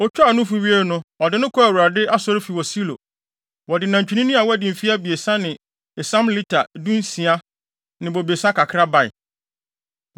Otwaa no nufu wiei no, ɔde no kɔɔ Awurade asɔre fi wɔ Silo. Wɔde nantwinini a wadi mfe abiɛsa ne esiam lita dunsia ne bobesa kakra bae.